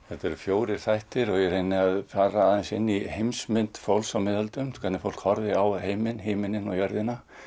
þetta eru fjórir þættir og ég reyni að fara aðeins inn í heimsmynd fólks á miðöldum hvernig fólk horfði á heiminn himininn og jörðina